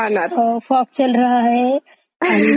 असल्याच ऍड असतात सगळ्या.